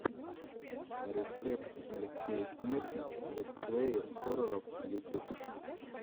рецепт алексей смертник летсплеи хорроров ютюб